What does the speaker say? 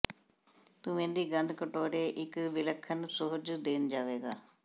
ਧੂੰਏ ਦੀ ਗੰਧ ਕਟੋਰੇ ਇੱਕ ਵਿਲੱਖਣ ਸੁਹਜ ਦੇਣ ਜਾਵੇਗਾ